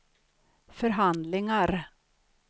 förhandlingar